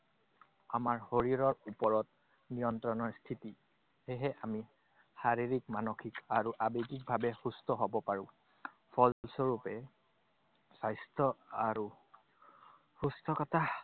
আমাৰ শৰীৰৰ ওপৰত নিয়ন্ত্ৰণৰ স্থিতি। সেয়েহে আমি শাৰীৰিক, মানসিক আৰু আৱেগিকভাৱে সুস্থ হব পাৰো। ফলস্বৰূপে, স্বাস্থ্য আৰু সুস্থতা